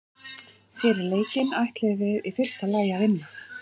Fyrir leikinn ætluðum við í fyrsta lagi að vinna.